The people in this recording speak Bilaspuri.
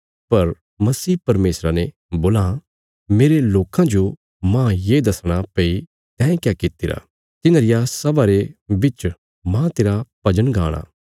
पर मसीह परमेशरा ने बोलां मेरे लोकां जो मांह ये दसणा भई तैं क्या कित्तिरा तिन्हां रिया सभा रे बिच मांह तेरा भजन गाणा